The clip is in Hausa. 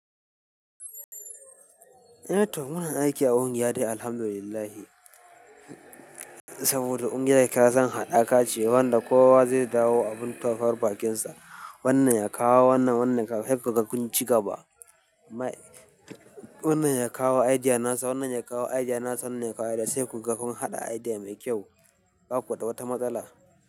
Eh. Tohmuna aiki a ƙungiya dai alhamdulillah. Saboda ƙungiya kisan haɗaka ce wanda kowa zai dawo abin taurar bakinsa. Wannan yakawo wannan, wannan yakawo sai kaga ƙunci gaba. Wannan ya kawo idea nasa, wannan ya kawo idea nasa, wannan ya kawo idea sai kun ga kun haɗa idea mai kyau, ba ku da wata matsala.